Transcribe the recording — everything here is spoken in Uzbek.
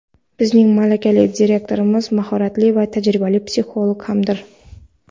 Bizning malakali direktorimiz mahoratli va tajribali psixolog hamdir.